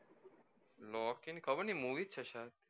લોકિ ની ખબર નહિ movie જ છે